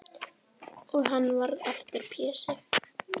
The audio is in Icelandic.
Og hann varð aftur Pési.